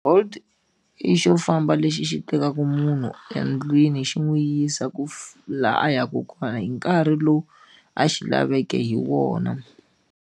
Bolt i xo famba lexi xi tekaka munhu endlwini xi n'wi yisa ku laha a yaka kona hi nkarhi lowu a xi laveke hi wona.